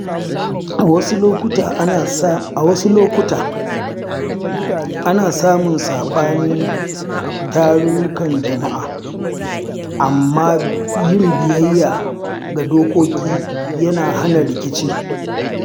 A wasu lokuta, ana samun sabani a tarukan jama’a, amma yin biyayya ga dokoki yana hana rikici.